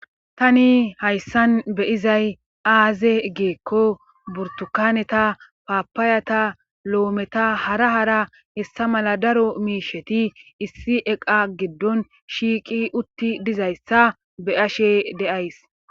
Tani hayssan be'izay aaze gikko burtukaneta paapaayata loometta hara hara hessa mala daro miishetish issi eqa giddon shiiqi utti dizayssa be'ashshe de'ays